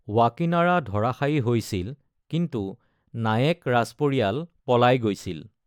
ৱাকিনাৰা ধৰাশায়ী হৈছিল কিন্তু নায়েক ৰাজপৰিয়াল পলাই গৈছিল।